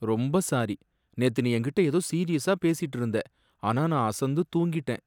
ரொம்ப சாரி! நேத்து நீ என்கிட்ட ஏதோ சீரியசா பேசிட்டு இருந்த, ஆனா நான் அசந்து தூங்கிட்டேன்